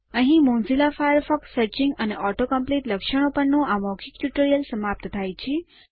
અહીં Mozilla Firefox searching અને auto complete લક્ષણો પરનું આ મૌખિક ટ્યુટોરીયલ સમાપ્ત થાય છે